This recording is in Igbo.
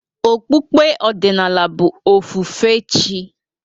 Okpukpe ọdịnala bụ ofufe chị́.